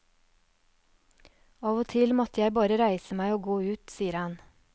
Av og til måtte jeg bare reise meg og gå ut, sier han.